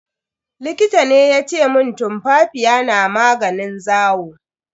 Likita ne yace mun tumfafiya na maganin zawo.